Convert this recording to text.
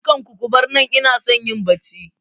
Dukan ku kubar nan, inason yin Bacci